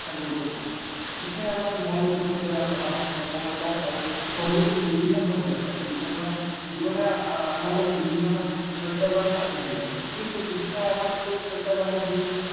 শিক্ষা গুৰুত্বপূৰ্ণ। শিক্ষাই আমাৰ মন মুকলি কৰে আৰু আমাক সফলতা আৰু সমৃদ্ধিৰ বিভিন্ন পথ দেখুৱাই। জীৱনে আমালৈ বিভিন্ন প্ৰত্য়াহ্বান আনি দিয়ে, কিন্তু শিক্ষাই আমাক সেই প্ৰত্য়াহ্বানৰ